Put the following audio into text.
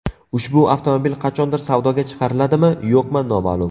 Ushbu avtomobil qachondir savdoga chiqariladimi, yo‘qmi noma’lum.